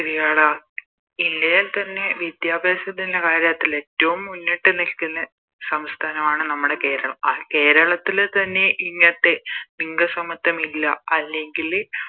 ശെരിയാടാ ഇല്ലെങ്കി തന്നെ വിദ്യാഭ്യാസത്തിൻറെ കാര്യത്തില് ഏറ്റോം മുന്നിട്ടുനിൽക്കുന്ന സംസ്ഥാനമാണ് നമ്മുടെ കേരളം ആ കേരളത്തില് തന്നെ ഇങ്ങത്തെ ലിംഗ സമത്വം ഇല്ല അല്ലെങ്കില്